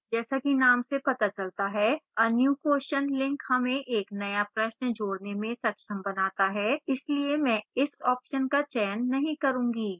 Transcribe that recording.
जैसा कि name से पता चलता है a new question link हमें एक नया प्रश्न जोड़ने में सक्षम बनाता है इसलिए मैं इस option का चयन नहीं करूंगी